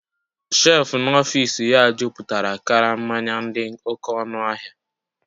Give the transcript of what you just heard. shelf n'ọfịs ya jupụtara karama mmanya dị oké ọnụ ahịa